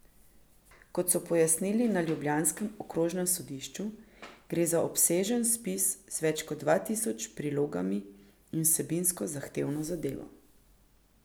Kot so pojasnili na ljubljanskem okrožnem sodišču, gre za obsežen spis z več kot dva tisoč prilogami in vsebinsko zahtevno zadevo.